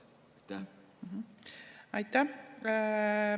Aitäh!